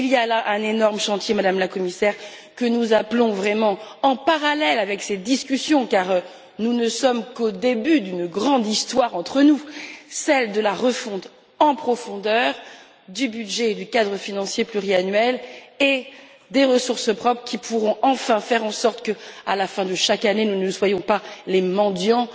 Il y a là un énorme chantier, Madame la Commissaire, que nous souhaitons vraiment ouvrir parallèlement à ces discussions, car nous ne sommes qu'au début d'une grande histoire entre nous, celle de la refonte en profondeur du budget du cadre financier pluriannuel et des ressources propres qui pourront enfin permettre que, à la fin de chaque année, nous ne soyons pas des mendiants